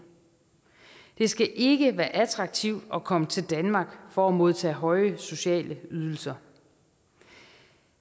det skal ikke være attraktivt at komme til danmark for at modtage høje sociale ydelser